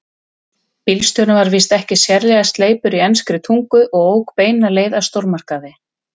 Bílstjórinn var víst ekki sérlega sleipur í enskri tungu og ók beina leið að stórmarkaði.